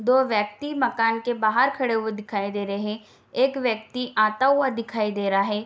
दो व्यक्ति मकान के बाहर खड़े दिखाई दे रहे हैं एक व्यक्ति आते हुआ दिखाई दे रहा है।